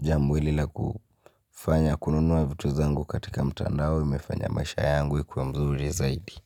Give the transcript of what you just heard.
jambo hili lakufanya kununua vitu zangu katika mtandao imefanya maisha yangu ikuwe mzuri zaidi.